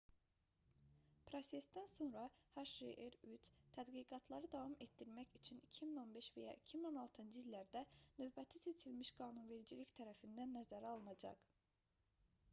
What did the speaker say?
prosesdən sonra hjr-3 tədqiqatları davam etdirmək üçün 2015 və ya 2016-cı illərdə növbəti seçilmiş qanunvericilik tərəfindən nəzərə alınacaq